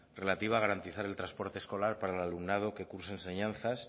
relativa a garantizar el transporte escolar para el alumnado que cursa enseñanzas